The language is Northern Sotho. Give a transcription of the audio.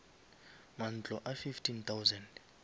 mantlo a fifteen thousand